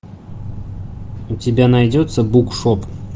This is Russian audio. у тебя найдется букшоп